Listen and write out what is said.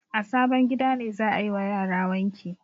A sabon gida ne za a yi wa yara wanki.